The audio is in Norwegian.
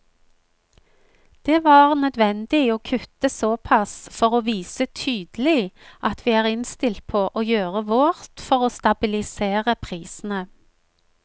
Det var nødvendig å kutte såpass for å vise tydelig at vi er innstilt på å gjøre vårt for å stabilisere prisene.